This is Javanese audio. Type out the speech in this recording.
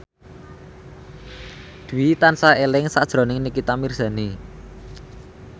Dwi tansah eling sakjroning Nikita Mirzani